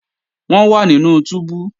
Wọ́n wà nínú túbú